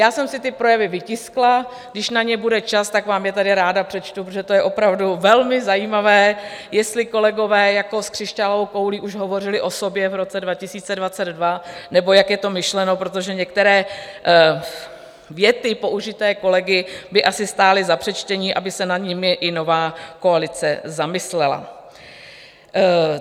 Já jsem si ty projevy vytiskla, když na ně bude čas, tak vám je tady ráda přečtu, protože to je opravdu velmi zajímavé, jestli kolegové jako s křišťálovou koulí už hovořili o sobě v roce 2022, nebo jak je to myšleno, protože některé věty použité kolegy by asi stály za přečtení, aby se nad nimi i nová koalice zamyslela.